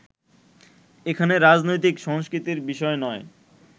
এখানে রাজনৈতিক সংস্কৃতির বিষয় নয়